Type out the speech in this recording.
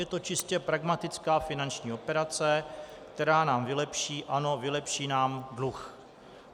Je to čistě pragmatická finanční operace, která nám vylepší, ano, vylepší nám dluh."